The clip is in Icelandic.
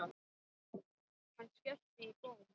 Hann skellti í góm.